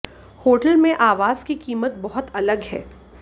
hotel में आवास की कीमत बहुत अलग हैं